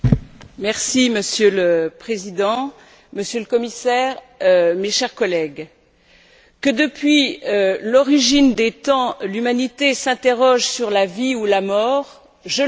Monsieur le Président, Monsieur le Commissaire, mes chers collègues, que depuis l'origine des temps, l'humanité s'interroge sur la vie ou la mort, je le comprends.